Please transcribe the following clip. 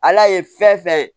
Ala ye fɛn fɛn